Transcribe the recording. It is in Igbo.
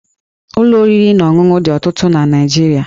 Ụlọ oriri na ọṅụṅụ dị ọtụtụ na Naịjirịa